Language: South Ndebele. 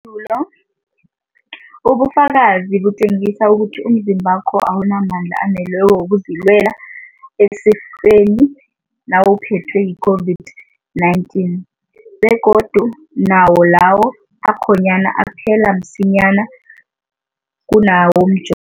dulo, ubufakazi butjengisa ukuthi umzimbakho awunamandla aneleko wokuzilwela esifeni nawuphethwe yi-COVID-19, begodu nawo lawo akhonyana aphela msinyana kunawomjovo.